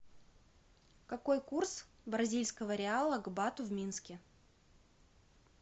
какой курс бразильского реала к бату в минске